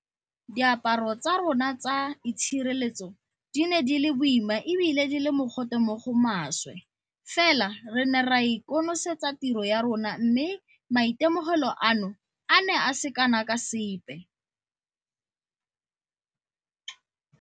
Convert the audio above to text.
Diaparo tsa rona tsa itshireletso di ne di le boima e bile di le mogote mo go maswe fela re ne ra konosetsa tiro ya rona mme maitemogelo ano a ne a se kana ka sepe.